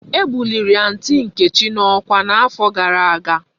E buliri aunty nkechi na okwa na afo gara aga